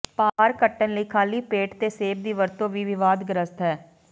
ਭਾਰ ਘਟਣ ਲਈ ਖਾਲੀ ਪੇਟ ਤੇ ਸੇਬ ਦੀ ਵਰਤੋਂ ਵੀ ਵਿਵਾਦਗ੍ਰਸਤ ਹੈ